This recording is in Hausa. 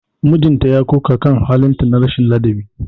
Mijinta ya koka kan halin ta na rashin ladabi.